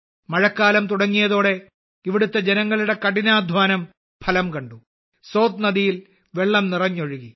മഴക്കാലം തുടങ്ങിയതോടെ ഇവിടുത്തെ ജനങ്ങളുടെ കഠിനാധ്വാനം ഫലം കണ്ടു സോത് നദിയിൽ വെള്ളം നിറഞ്ഞൊഴുകി